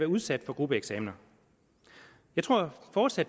udsat for gruppeeksamener jeg tror fortsat